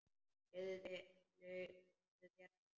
Leyfðu þér að hlæja.